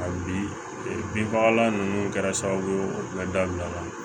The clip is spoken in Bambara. Ka bi bin fagalan nunnu kɛra sababu o be dabila